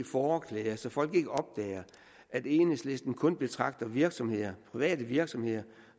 fåreklæder så folk ikke opdager at enhedslisten kun betragter virksomheder private virksomheder